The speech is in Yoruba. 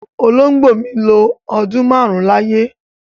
Olóngbó mi lọ ọdún máarun láyé